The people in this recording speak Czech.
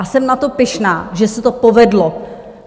A jsem na to pyšná, že se to povedlo.